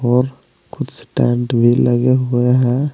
और कुछ टेंट भी लगे हुए हैं।